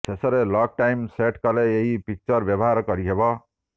ଶେଷରେ lock time set କଲେ ଏହି ଫିଚର ବ୍ୟବହାର କରିହେବ